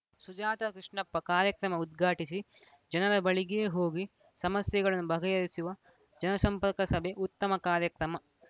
ಸುಜಾತ ಕೃಷ್ಣಪ್ಪ ಕಾರ್ಯಕ್ರಮ ಉದ್ಘಾಟಿಸಿ ಜನರ ಬಳಿಗೇ ಹೋಗಿ ಸಮಸ್ಯೆಗಳನ್ನು ಬಗೆಹರಿಸುವ ಜನಸಂಪರ್ಕ ಸಭೆ ಉತ್ತಮ ಕಾರ್ಯಕ್ರಮ